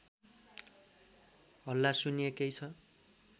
हल्ला सुनिएकै छ